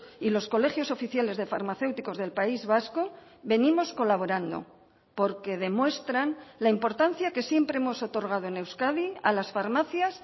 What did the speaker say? y los colegios oficiales de farmacéuticos del país vasco venimos colaborando porque demuestran la importancia que siempre hemos otorgado en euskadi a las farmacias